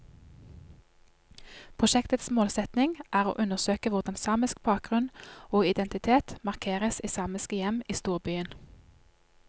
Prosjektets målsetning er å undersøke hvordan samisk bakgrunn og identitet markeres i samiske hjem i storbyen.